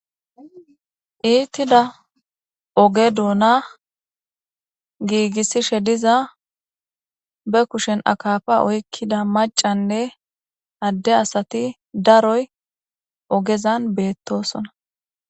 iittida oge douna giigissishe diza be kushen akafa oykkida macanne adde asati daroy ogezan beettosona